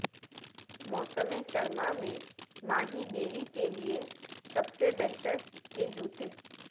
موسم سرما میں ماہی گیری کے لئے سب سے بہتر کے جوتے